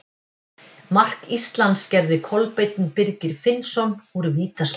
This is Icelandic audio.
Mark Íslands gerði Kolbeinn Birgir Finnsson úr vítaspyrnu.